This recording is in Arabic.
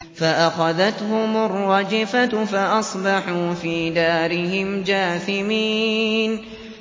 فَأَخَذَتْهُمُ الرَّجْفَةُ فَأَصْبَحُوا فِي دَارِهِمْ جَاثِمِينَ